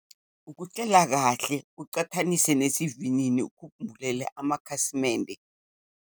Ukucela kahle ucathanise nesivinini ukhumbulele amakhasimende.